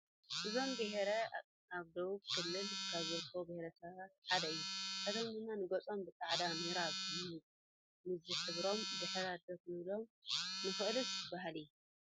እዞም ብሄር ኣብ ደቡብ ክልል ካብ ዝርከቡ ብሄረሰባት ሓደ እዮም፡፡ ንሳቶም ንገፆም ብፃዕዳ ኖራ ምዝሕባሮም ድሕረት ዶ ክንብሎ ንኽእልስ ባህሊ?